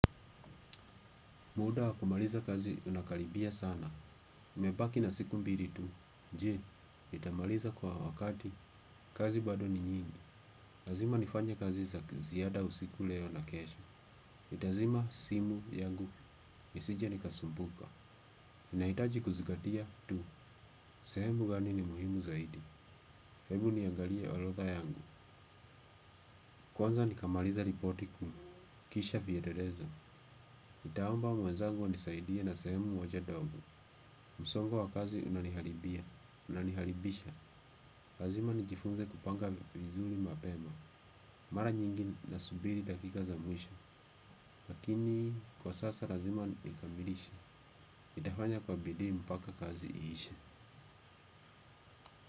Muda wakumaliza kazi unakalibia sana. Mepaki na siku mbili tu. Je nitamaliza kwa wakati. Kazi bado ni nyingi. Lazima nifanye kazi za ziyada usiku leo na kesho. Itazima simu yangu. Nisije nikasumbuka. Inaitaji kuzingatia tu. Sehemu gani ni muhimu zaidi. Hebu niangalie orodha yangu. Kwanza nikamaliza ripoti kuu. Kisha vielelezo. Nitaomba mwenzangu anisaidia na sehemu moja ndogo. Msongo wa kazi unaniharibia. Unaniharibisha, lazima nijifunze kupanga vizuri mapema. Mara nyingi nasubiri dakika za mwisho lakini kwa sasa lazima nikamilishe nitafanya kwa bidiii mpaka kazi iishe.